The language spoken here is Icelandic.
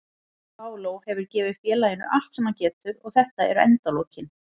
Paulo hefur gefið félaginu allt sem hann getur og þetta eru endalokin.